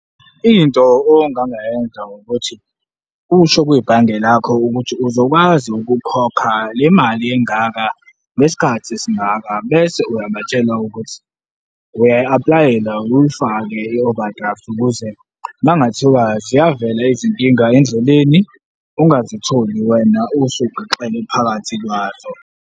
Into ongangayenza ukuthi usho kwibhange lakho ukuthi uzokwazi ukukhokha le mali engaka, ngesikhathi esingaka bese uyabatshela ukuthi uyayiaplayela, uyifake i-overdraft ukuze makungathiwa ziyavela izinkinga endleleni, ungazitholi wena usugixele phakathi kwazo.